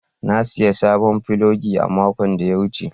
Na sayi sabon filogi a makon da ya wuce.